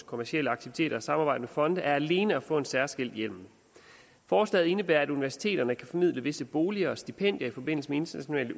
kommercielle aktiviteter og samarbejde med fonde er alene at få en særskilt hjemmel forslaget indebærer at universiteterne kan formidle visse boliger og stipendier i forbindelse med internationale